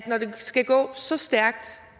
når det skal gå så stærkt